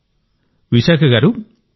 సరే విశాఖ గారూ